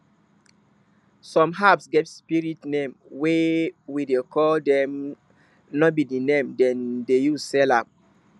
some herbs get spirit name wey we dey call dem no be the name dem dey use sell am